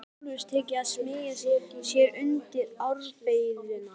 Honum hafði sjálfum tekist að smeygja sér undir ábreiðuna.